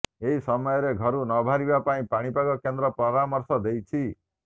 ଏହି ସମୟରେ ଘରୁ ନବାହାରିବା ପାଇଁ ପାଣିପାଗ କେନ୍ଦ୍ର ପରାମର୍ଶ ଦେଇଛି